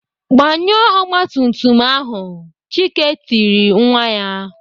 Gbanyụọ ọgbatumtum ahu!" Chike tiri nwa ya.